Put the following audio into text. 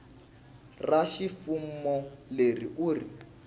ra ximfumo leri u ri